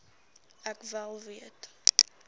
ek wel weet